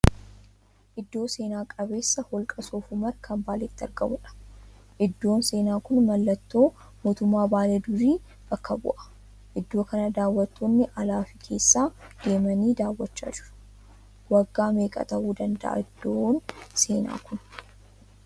Iddoo seena qabeessa holqa Soof-Humar kan Baaleetti argamuudha. Iddoon seenaa kun mallattoo mootummaa Baalee durii bakka bu'a. Iddoo kana daawwattoonni alaa fi keessaa deemanii daawwachaa jiru. Waggaa meeqa tahuu danda'aa iddoon seenaa kun?